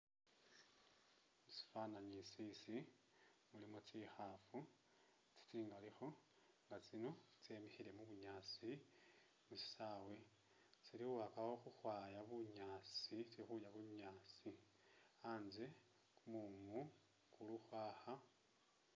Musifananyi isisi mulimo tsikhaafu tsi tsingalikho nga tsino tsemikhile mubunyaasi musisawe, tsili khukhakakho khukhwaya bunyaasi tsili khulya bunyaasi , a'nze kumumu kulukhwakha